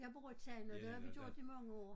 Jeg bor i Tejn og det har vi gjort i mange år